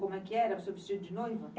Como é que era o seu vestido de noiva?